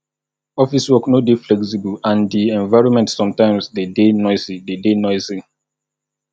office work no dey flexible and di environment sometimes de deyy noisy de deyy noisy